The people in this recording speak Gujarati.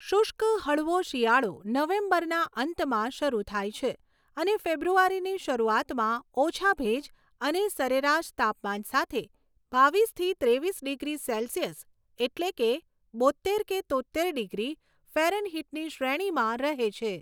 શુષ્ક, હળવો શિયાળો નવેમ્બરના અંતમાં શરૂ થાય છે અને ફેબ્રુઆરીની શરૂઆતમાં ઓછા ભેજ અને સરેરાશ તાપમાન સાથે બાવીસથી ત્રેવીસ ડિગ્રી સેલ્સિયસ એટલે કે બોત્તેર કે તોત્તેર ડિગ્રી ફેરનહીટની શ્રેણીમાં રહે છે.